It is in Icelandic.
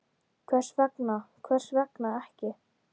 Hvers vegna, hvers vegna ekki?